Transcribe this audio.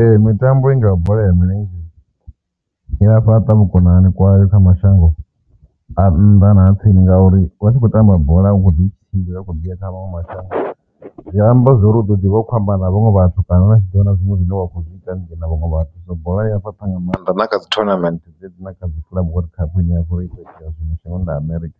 Ee, mitambo i ngaho bola ya milenzhe i a fhaṱa vhukonani kwayo kha mashango a nnḓa na a tsini ngauri vha tshi khou tamba bola hu kho ḓo tshimbila ni khou di kha maṅwe mashango zwi amba ndi zwa uri u ḓo ḓi vha u khou amba na vhaṅwe vhathu, kana na tshi ḓivha na zwiṅwe zwine wa kho zwitangeni na vhaṅwe vhathu zwo bola fhaṱha nga maanḓa na kha dzi thonamennde dzedzi na kha dzi ine ya vhori shangoni ḽa Amerika